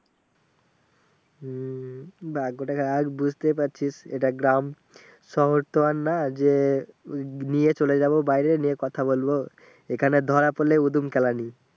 হম ভাগ্যটাই আজ বুঝতেই পারছিস কারণ এটা গ্রাম শহর তো আর না যে নিয়ে চলে যাবো বাইরে নিয়ে কথা বলবো এখানে ধরা পরলে উদুম কেলানি